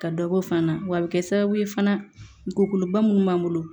Ka dɔ bɔ fana wa a bɛ kɛ sababu ye fana kokoloba minnu b'an bolo